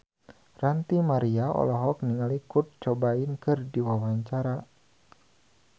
Ranty Maria olohok ningali Kurt Cobain keur diwawancara